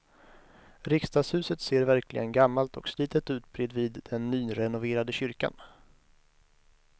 Riksdagshuset ser verkligen gammalt och slitet ut bredvid den nyrenoverade kyrkan.